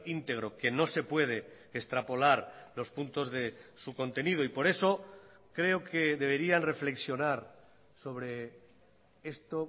íntegro que no se puede extrapolar los puntos de su contenido y por eso creo que deberían reflexionar sobre esto